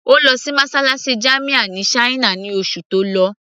Ó lọ sí mosálásí jamia ní china ní oṣù tó lọ